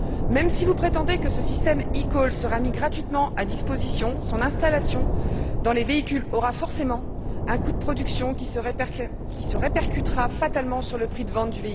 Même si vous prétendez que ce système eCall sera mis gratuitement à disposition, son installation dans les véhicules aura forcément un coût de production qui se répercutera fatalement sur leur prix de vente.